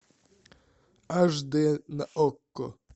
аш дэ на окко